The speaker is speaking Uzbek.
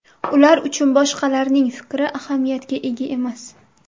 Ular uchun boshqalarning fikri ahamiyatga ega emas.